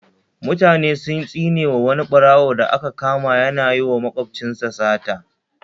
Mutane sun tsinewa wani ɓarawo da aka kama yana yiwa makwabcinsa sata